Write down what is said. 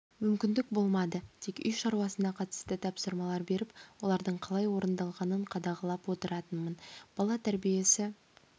мүмкіндік болмады тек үй шаруасына қатысты тапсырмалар беріп олардың қалай орындалғанын қадағалап отыратынмын бала тәрбиесі